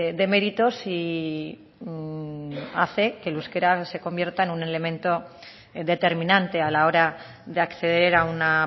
de méritos y hace que el euskera se convierta en un elemento determinante a la hora de acceder a una